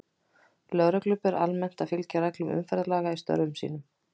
Lögreglu ber almennt að fylgja reglum umferðarlaga í störfum sínum.